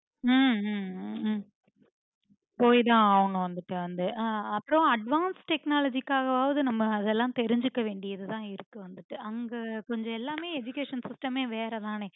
ஹம் ஹம் ஹம் போயிதா ஆகணும் வந்துட்டு வந்து அஹ் அப்புறம் advance technology காகவாது நம்ப அதெல்லாம் தெரிஞ்சிக்க வேண்டியதுதாயிருக்கு அங்க கொஞ்சம் எல்லாமே education system மே வேற தானே